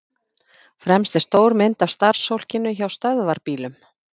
Fremst er stór mynd af starfsfólkinu hjá Stöðvarbílum.